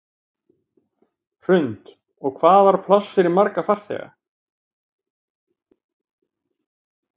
Hrund: Og hvað var pláss fyrir marga farþega?